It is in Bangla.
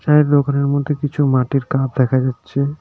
এই দোকানের মধ্যে কিছু মাটির কাপ দেখা যাচ্ছে।